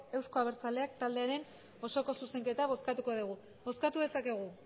eusko abertzaleak taldearen osoko zuzenketa bozkatuko dugu bozkatu dezakegu